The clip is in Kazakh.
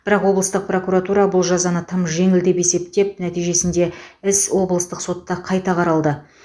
бірақ облыстық прокуратура бұл жазаны тым жеңіл деп есептеп нәтижесінде іс облыстық сотта қайта қаралды